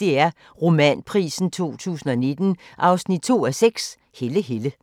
DR Romanprisen 2019 2:6 – Helle Helle *